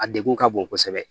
A degun ka bon kosɛbɛ